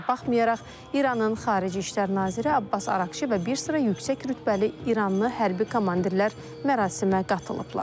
Buna baxmayaraq, İranın xarici İşlər naziri Abbas Araqçı və bir sıra yüksək rütbəli İranlı hərbi komandirlər mərasimə qatılıblar.